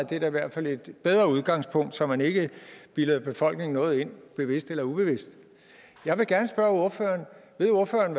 det er da i hvert fald et bedre udgangspunkt så man ikke bilder befolkningen noget ind bevidst eller ubevidst jeg vil gerne spørge ordføreren ved ordføreren